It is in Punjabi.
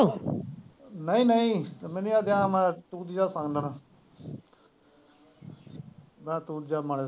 ਨਹੀਂ ਨਹੀਂ ਮੈਨੂੰ ਸੋਣ ਦੇਣਾ .